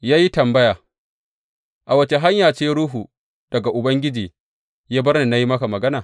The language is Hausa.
Ya yi tambaya, A wace hanya ce ruhu daga Ubangiji ya bar ni ya yi maka magana?